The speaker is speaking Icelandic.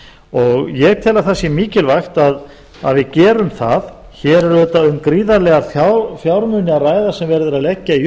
og ég tel að það sé mikilvægt að við gerum það hér er auðvitað um gríðarlega fjármuni að ræða sem verið er að leggja í